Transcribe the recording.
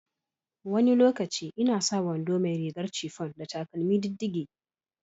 Wani lokaci ina sa wando mai rigar chiffon da takalmi diddige.